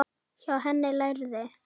Hjá henni lærði